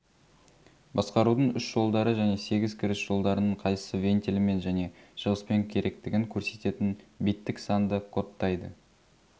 басқарудың үш жолдары және сегіз кіріс жолдарының қайсысы вентилімен және шығыспен керектігін көрсететін биттік санды кодтайды